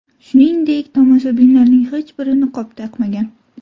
Shuningdek, tomoshabinlarning hech biri niqob taqmagan.